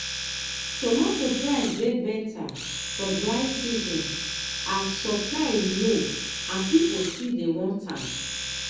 tomato price dey better for dry season as supply low and people still want am.